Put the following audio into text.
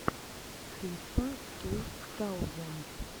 крисфа ту таузенд